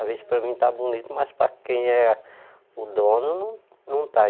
Às vezes para mim está bonito, mas para quem é o dono não não está.